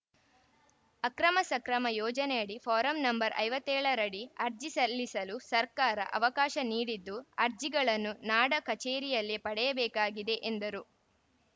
ಅಕ್ರಮಸಕ್ರಮ ಯೋಜನೆಯಡಿ form number ಐವತ್ತ್ ಏಳರಡಿ ಅರ್ಜಿ ಸಲ್ಲಿಸಲು ಸರ್ಕಾರ ಅವಕಾಶ ನೀಡಿದ್ದು ಅರ್ಜಿಗಳನ್ನು ನಾಡ ಕಚೇರಿಯಲ್ಲೇ ಪಡೆಯಬೇಕಾಗಿದೆ ಎಂದರು